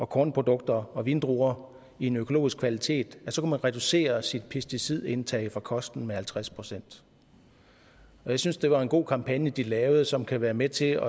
kornprodukter og vindruer i en økologisk kvalitet så kunne man reducere sit pesticidindtag fra kosten med halvtreds procent jeg synes det var en god kampagne de lavede som kan være med til at